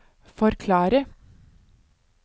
forklare